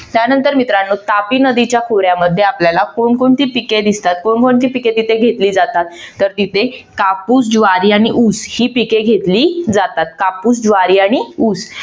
त्यानंतर मित्रानो तापी नदीच्या खोऱ्यामध्ये आपल्याला कोण कोणती पिके दिसतात? कोण कोणती पिके तिथे घेतली जातात? तर तिथे कापूस, ज्वारी आणि ऊस ही पिके घेतली जातात. कापूस, ज्वारी आणि ऊस